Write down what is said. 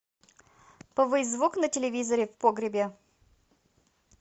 повысь звук на телевизоре в погребе